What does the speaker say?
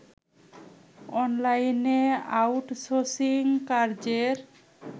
অনলাইনে আউটসোর্সিং কাজের